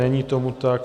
Není tomu tak.